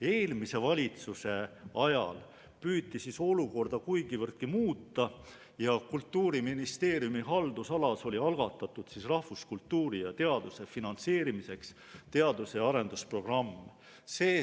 Eelmise valitsuse ajal püüti olukorda kuigivõrdki muuta ja Kultuuriministeeriumi haldusalas oli algatatud rahvuskultuuri ja teaduse finantseerimiseks teadus- ja arendusprogramm.